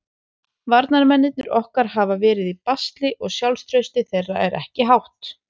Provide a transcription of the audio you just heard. Varnarmennirnir okkar hafa verið í basli og sjálfstraustið þeirra er ekki hátt.